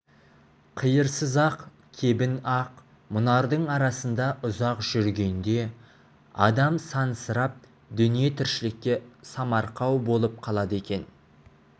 қиырсыз ақ кебін ақ мұнардың арасында ұзақ жүргенде адам сансырап дүние-тіршілікке самарқау болып қалады екен